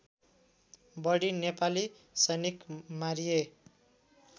बढी नेपाली सैनिक मारिए